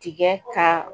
Tigɛ ka